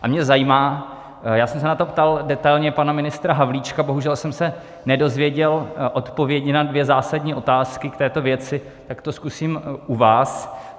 A mě zajímá, já jsem se na to ptal detailně pana ministra Havlíčka, bohužel jsem se nedozvěděl odpovědi na dvě zásadní otázky k této věci, tak to zkusím u vás.